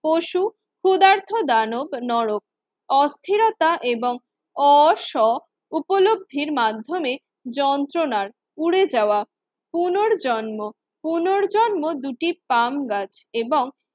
পশু ক্ষুদার্থ দানব নরক অস্থিরতা এবং অস উপলব্ধির মাধ্যমে যন্ত্রণার পুড়ে যাওয়া। পুনর্জন্ম পুনর্জন্ম দুটি পাম গাছ এবং